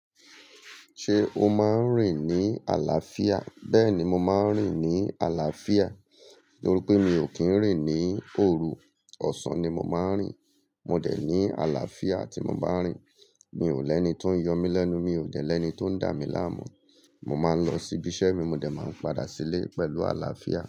Ṣé o máa ń rìn ní àlàáfíà? Bẹ́ẹ̀ ni mo máa ń rìn ní àlàáfíà, nítorí pé mi ò kí ń rìn ní òru. Ọ̀sán ni mo máa ń rìn. Mò dẹ̀ ní àlàáfíà tí mo bá ń rìn. Mi ò lẹ́ni tó ń yọ mí lẹ́nu, mi ò jẹ̀ ẹ́ni tó ń dà mí láàmú. Mo máa ń lọ sí ibi iṣẹ́ mi, mo dẹ̀ máa ń padà sílé pẹ̀lú àlàáfíà.